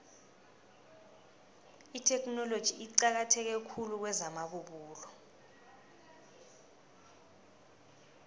itheknoloji iqakatheke khulu kwezamabubulo